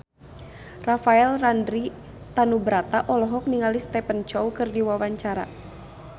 Rafael Landry Tanubrata olohok ningali Stephen Chow keur diwawancara